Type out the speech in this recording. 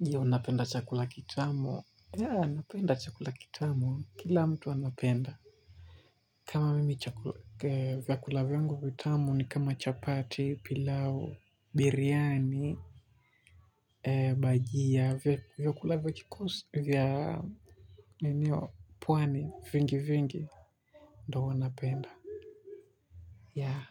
Je, unapenda chakula kitamu? Ya, napenda chakula kitamu. Kila mtu anapenda. Kama mimi vyakula vyangu vitamu ni kama chapati, pilau, biriyani, bajia, vyakula vya Niniyo, pwani, vingi vingi. Ndo napenda. Ya,